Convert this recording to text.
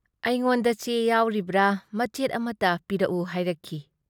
ꯑꯩꯉꯣꯟꯗ ꯆꯦ ꯌꯥꯎꯔꯤꯕ꯭ꯔꯥ ꯃꯆꯦꯠ ꯑꯃꯠꯇ ꯄꯤꯔꯛꯎ ꯍꯥꯏꯔꯛꯈꯤ ꯫